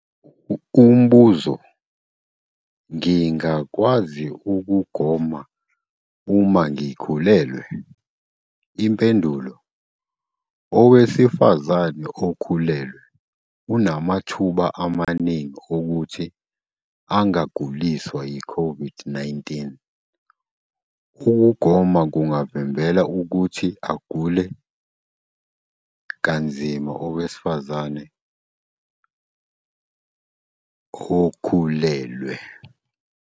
Umbuzo- Ngingakwazi ukugoma uma ngikhulelwe? Impendulo- Owesifazane okhulelwe unamathuba amaningi okuthi angaguliswa yi-COVID-19. Ukugoma kungavimbela ukuthi agule kanzima owesifazane okhulelwe.